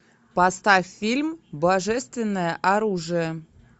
поставь фильм божественное оружие